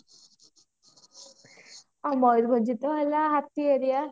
ଆଉ ମୟୂରଭଞ୍ଜ ତ ହେଲା ହାତୀ aria